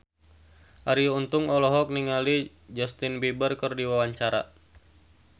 Arie Untung olohok ningali Justin Beiber keur diwawancara